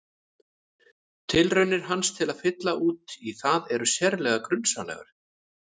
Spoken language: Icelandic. Tilraunir hans til að fylla út í það eru sérlega grunsamlegar.